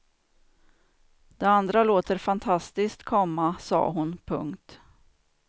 Det andra låter fantastiskt, komma sade hon. punkt